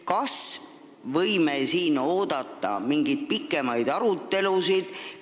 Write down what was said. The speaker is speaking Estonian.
Kas me võime oodata mingeid pikemaid sellekohaseid arutelusid?